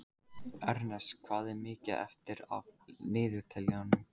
Ernest, hvað er mikið eftir af niðurteljaranum?